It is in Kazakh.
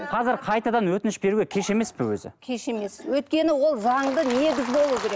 қазір қайтадан өтініш беруге кеш емес пе өзі кеш емес өйткені ол заңды негіз болу керек